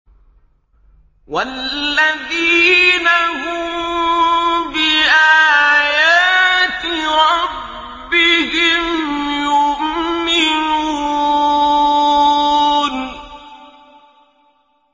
وَالَّذِينَ هُم بِآيَاتِ رَبِّهِمْ يُؤْمِنُونَ